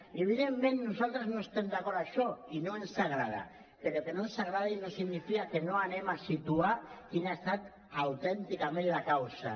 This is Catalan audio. i evidentment nosaltres no estem d’acord amb això i no ens agrada però que no ens agradi no significa que no anem a situar quina ha estat autènticament la causa